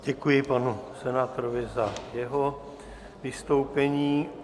Děkuji panu senátorovi za jeho vystoupení.